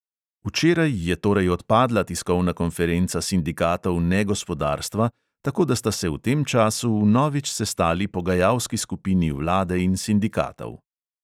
Včeraj je torej odpadla tiskovna konferenca sindikatov negospodarstva, tako da sta se v tem času vnovič sestali pogajalski skupini vlade in sindikatov.